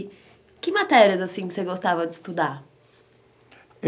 E que matérias, assim, que você gostava de estudar?